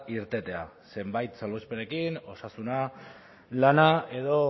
irtetea zenbait salbuespenekin osasuna lana edo